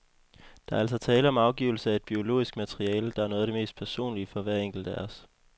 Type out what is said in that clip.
Der er altså tale om afgivelse af et biologisk materiale, der er noget af det mest personlige for hver enkelt af os.